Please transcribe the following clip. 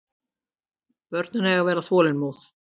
Börn eiga að vera þolinmóð.